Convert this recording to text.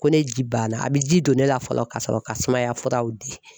Ko ne ji banna a bɛ ji don ne la fɔlɔ ka sɔrɔ ka sumaya furaw di.